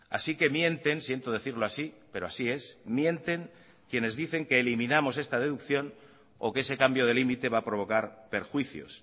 así que mienten siento decirlo así pero así es mienten quienes dicen que eliminamos esta deducción o que ese cambio de límite va a provocar perjuicios